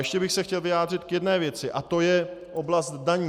Ještě bych se chtěl vyjádřit k jedné věci a to je oblast daní.